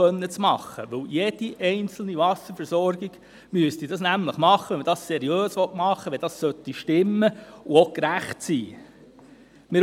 Denn diese müsste von jeder einzelnen Wasserversorgung gemacht werden, wenn man es denn seriös machen möchte, wenn es stimmen und gerecht sein soll.